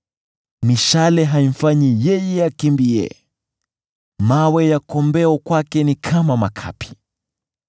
Mishale haimfanyi yeye akimbie; mawe ya kombeo kwake ni kama makapi.